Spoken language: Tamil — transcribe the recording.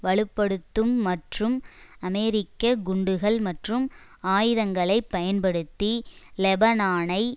வலு படுத்தும் மற்றும் அமெரிக்க குண்டுகள் மற்றும் ஆயுதங்களை பயன்படுத்தி லெபனானை